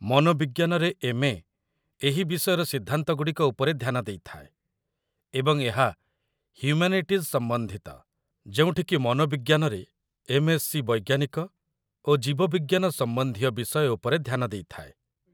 ମନୋବିଜ୍ଞାନରେ MA. ଏହି ବିଷୟର ସିଦ୍ଧାନ୍ତଗୁଡ଼ିକ ଉପରେ ଧ୍ୟାନ ଦେଇଥାଏ, ଏବଂ ଏହା ହ୍ୟୁମାନିଟିଜ୍ ସମ୍ବନ୍ଧିତ, ଯେଉଁଠିକି ମନୋବିଜ୍ଞାନରେ ଏମ୍.ଏସ୍‌ସି. ବୈଜ୍ଞାନିକ ଓ ଜୀବବିଜ୍ଞାନ ସମ୍ବନ୍ଧୀୟ ବିଷୟ ଉପରେ ଧ୍ୟାନ ଦେଇଥାଏ